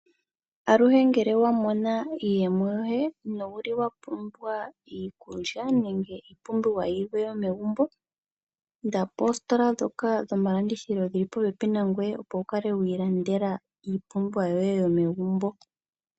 Aluhe ngele wa mona iiyemo yoye nowu li wa pumbwa iikulya nenge iipumbiwa yilwe yomegumbo, Inda poositola ndhoka dhomalandithilo dhili popepi nangwe, opo wu kale wi ilandela iipumbiwa yoye yomegumbo.